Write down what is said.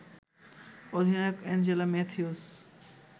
অধিনায়ক অ্যাঞ্জেলো ম্যাথিউস